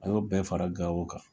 A y'o bɛɛ fara Gawo kan.